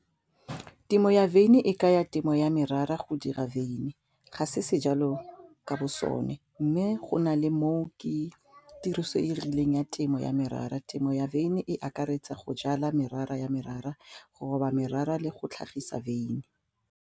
Temo ya wine e kaya temo ya merara go dira wine ga se sejalo ka bo sone mme go na le mo ke tiriso e e rileng ya temo ya merara, temo ya wine e akaretsa go jala merara ya merara go roba merara le go tlhagisa wine.